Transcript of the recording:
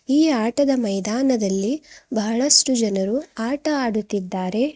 ಈ ಆಟದ ಮೈದಾನದಲ್ಲಿ ಬಹಳಷ್ಟು ಜನರು ಆಟ ಆಡುತ್ತಿದ್ದಾರೆ.